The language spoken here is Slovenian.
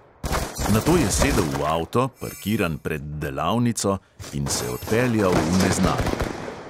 Nato je sedel v avto, parkiran pred delavnico, in se odpeljal v neznano.